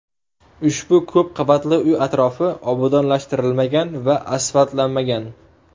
Ushbu ko‘p qavatli uy atrofi obodonlashtirilmagan va asfaltlanmagan.